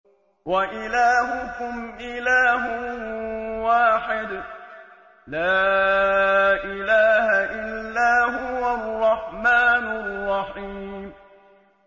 وَإِلَٰهُكُمْ إِلَٰهٌ وَاحِدٌ ۖ لَّا إِلَٰهَ إِلَّا هُوَ الرَّحْمَٰنُ الرَّحِيمُ